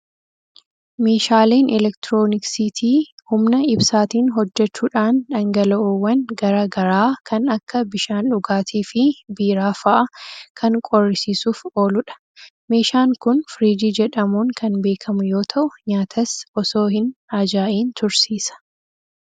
Meeshaaleen elektirooniksiitii humna ibsaatiin hojjechuudhaan dhangala'oowwan garaa garaa kan akka bishaan dhugaatii fi biiraa fa'a kan qorrisiisuuf ooludha. Meeshaan kun firiijii jedhamuun kan beekamu yoo ta'u, nyaatas osoo hin ajaa'iin tursiisa.